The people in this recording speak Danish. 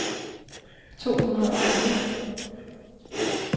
to hundrede og fire